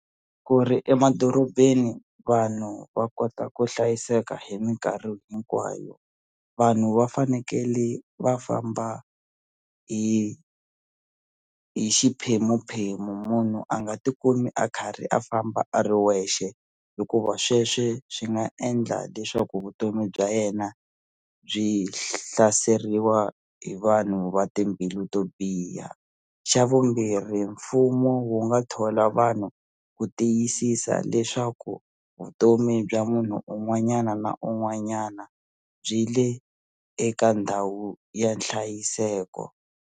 Ku ri emadorobeni vanhu va kota ku hlayiseka hi minkarhi hinkwayo vanhu va fanekele va famba hi hi xiphemuphemu munhu a nga ti kumi a karhi a famba a ri wexe hikuva sweswe swi nga endla leswaku vutomi bya yena byi hlaseriwa hi vanhu va timbilu to biha xa vumbirhi mfumo wu nga thola vanhu ku tiyisisa leswaku vutomi bya munhu un'wanyana na un'wanyana byile eka ndhawu ya nhlayiseko.